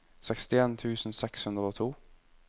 sekstien tusen seks hundre og to